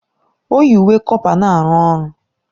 O yi uwe kọpa na-arụ ọrụ